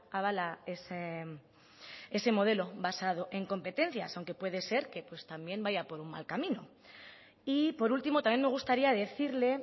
avala ese modelo basado en competencias aunque puede ser que pues también vaya por un mal camino y por último también me gustaría decirle